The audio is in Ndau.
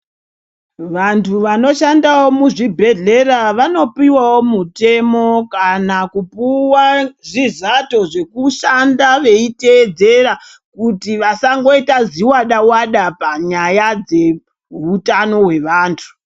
Vantu vanoshandawo muzvibhedhlera vanopiwawo mitemo kana Kuouwa zvizato zvekushanda zveitedzerwa kuti vasangoita zvivada vada panyaya dzehutano hwevantu.